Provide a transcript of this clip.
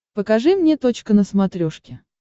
покажи мне точка на смотрешке